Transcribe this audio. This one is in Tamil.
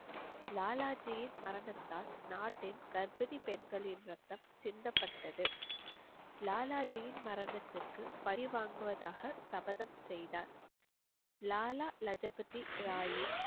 லாலாஜியின் மரணத்தால் நாட்டின் கர்ப்பிணி பெண்களின் ரத்தம் சிந்தப்பட்டது லாலாஜியின் மரணத்திற்கு பழி வாங்குவதாக சபதம் செய்தார் லாலா லஜபதி ராயின்